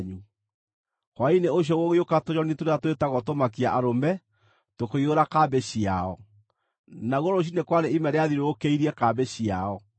Hwaĩ-inĩ ũcio gũgĩũka tũnyoni tũrĩa twĩtagwo tũmakia-arũme tũkĩiyũra kambĩ ciao. Naguo rũciinĩ kwarĩ ime rĩathiũrũrũkĩirie kambĩ ciao.